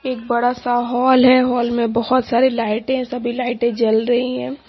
एक बड़ा सा हॉल है हॉल में बहुत सारी लाइटें सभी लाइटें जल रही हैं।